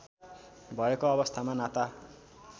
भएको अवस्थामा नाता